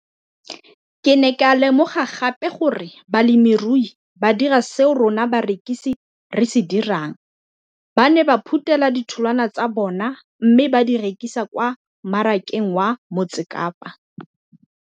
Ke ne ka lemoga gape gore balemirui ba dira seo rona barekisi re se dirang, ba ne ba phuthela ditholwana tsa bona mme ba di rekisa kwa marakeng wa Motsekapa.